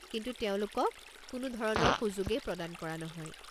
কিন্তু তেওঁলোকক কোনোধৰণৰ সুযোগেই প্ৰদান কৰা নহয়।